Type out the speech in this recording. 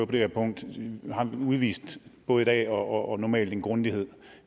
det her punkt har udvist både i dag og normalt en grundighed